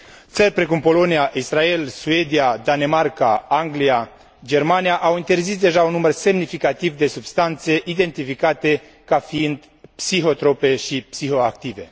Țări precum Polonia, Israel, Suedia, Danemarca, Anglia, Germania au interzis deja un număr semnificativ de substanțe identificate ca fiind psihotrope și psihoactive.